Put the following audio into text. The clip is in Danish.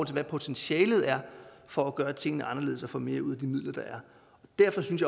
til hvad potentialet er for at gøre tingene anderledes og få mere ud af de midler der er derfor synes